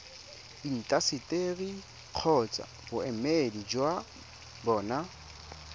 intaseteri kgotsa boemedi jwa bona